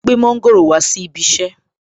Ó gbé mọ́ńgòrò wá sí ibi iṣẹ́